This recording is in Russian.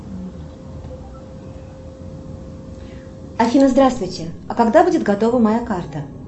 афина здравствуйте а когда будет готова моя карта